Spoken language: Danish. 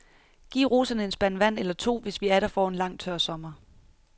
Giv roserne en spand vand eller to, hvis vi atter får en lang, tør sommer.